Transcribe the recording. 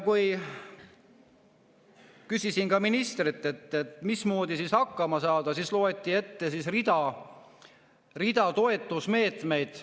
Kui küsisin ministrilt, mismoodi hakkama saada, siis loeti ette rida toetusmeetmeid.